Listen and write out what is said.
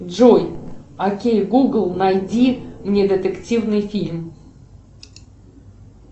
джой окей гугл найди мне детективный фильм